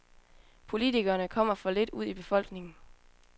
Politikerne kommer for lidt ud i befolkningen.